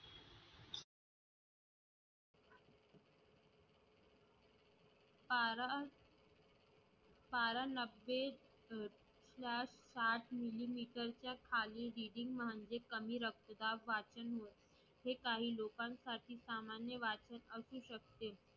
पारा साठ मिलिमीटरच्या खाली म्हणजे कमी रक्तदाब वाचन होय हे काही लोकांसाठी सामान्य वाचक असू शकते